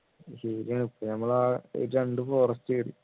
ശരിയാണ് ഇപ്പൊ നമ്മള് ആ രണ്ടു forest